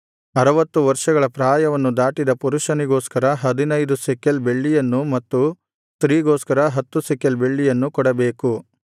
ಅರವತ್ತು ವರ್ಷಗಳ ಪ್ರಾಯವನ್ನು ದಾಟಿದ ಪುರುಷನಿಗೋಸ್ಕರ ಹದಿನೈದು ಶೆಕೆಲ್ ಬೆಳ್ಳಿಯನ್ನು ಮತ್ತು ಸ್ತ್ರೀಗೋಸ್ಕರ ಹತ್ತು ಶೆಕೆಲ್ ಬೆಳ್ಳಿಯನ್ನು ಕೊಡಬೇಕು